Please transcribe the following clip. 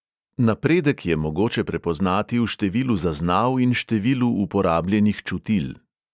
Napredek je mogoče prepoznati v številu zaznav in številu uporabljenih čutil.